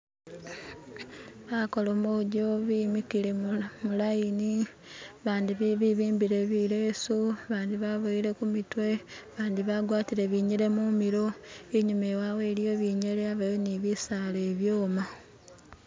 Bakolomojo bimikile mulayini bandi bibimbile bileesu bandi baboyele kumitwe bandi bagwatile binyele mumilo inyuma wawe iliyo binyele yabayo ni bisaala bibyoma